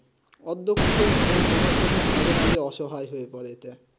অধক আধ্যাপক রা মাঝে মাঝে আশায় হয়ে পরে এতে